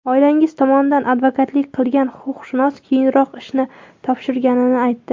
Oilangiz tomonidan advokatlik qilgan huquqshunos keyinroq ishni topshirganini aytdi.